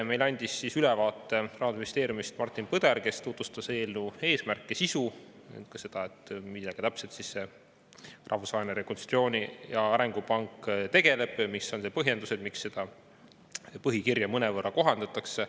Meile andis ülevaate Rahandusministeeriumist Martin Põder, kes tutvustas eelnõu eesmärke ja sisu, ka seda, millega täpselt Rahvusvaheline Rekonstruktsiooni‑ ja Arengupank tegeleb ja mis on need põhjendused, miks seda põhikirja mõnevõrra kohandatakse.